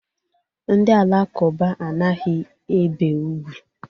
Ndi alakụba anaghi ebe ùgwú.